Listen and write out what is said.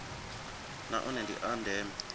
na one ndi a ndeme